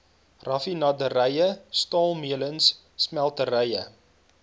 raffinaderye staalmeulens smelterye